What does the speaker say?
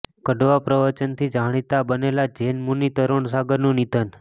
કડવા પ્રવચનથી જાણીતા બનેલા જૈન મુનિ તરુણ સાગરનું નિધન